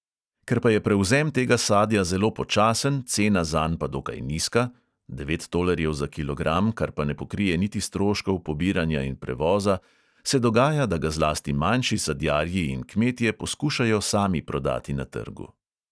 Ker pa je prevzem tega sadja zelo počasen, cena zanj pa dokaj nizka (devet tolarjev za kilogram, kar pa ne pokrije niti stroškov pobiranja in prevoza), se dogaja, da ga zlasti manjši sadjarji in kmetje poskušajo sami prodati na trgu.